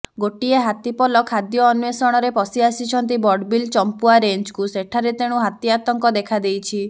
ଗୋଟିଏ ହାତୀପଲ ଖାଦ୍ୟ ଅନ୍ବେଷଣରେ ପଶି ଆସିଛନ୍ତି ବଡ଼ବିଲ ଚମ୍ପୁଆ ରେଞ୍ଜକୁ ସେଠାରେ ତେଣୁ ହାତୀ ଆତଙ୍କ ଦେଖାଦେଇଛି